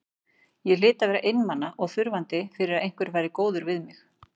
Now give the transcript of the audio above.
Ég hlyti að vera einmana og þurfandi fyrir að einhver væri góður við mig.